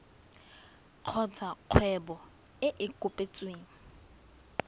kgotsa kgwebo e e kopetsweng